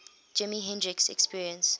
jimi hendrix experience